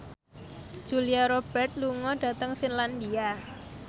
Julia Robert lunga dhateng Finlandia